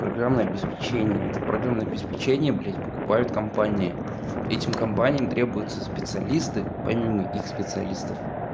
программное обеспечение это программное обеспечение блядь покупают компании этим компаниям требуются специалисты помимо их специалистов